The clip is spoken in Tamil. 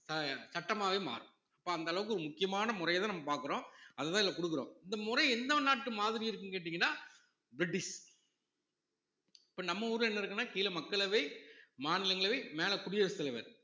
அஹ் சட்டமாகவே மாறும் அப்ப அந்த அளவுக்கு முக்கியமான முறையத்தான் நம்ம பார்க்கிறோம் அதுதான் இதுல கொடுக்குறோம் இந்த முறை எந்த நாட்டு மாதிரி இருக்குன்னு கேட்டீங்கன்னா பிரிட்டிஷ் இப்ப நம்ம ஊர்ல என்ன இருக்குன்னா கீழ மக்களவை, மாநிலங்களவை மேல குடியரசுத் தலைவர்